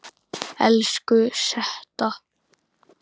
Elsku Setta.